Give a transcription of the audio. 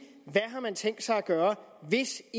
hvad har man tænkt sig at gøre hvis